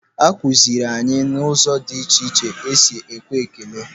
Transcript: Akụziiri anyị ụzọ dị iche iche esi ekwe ekele.